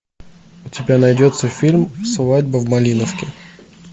у тебя найдется фильм свадьба в малиновке